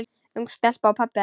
Ung stelpa og pabbi hennar.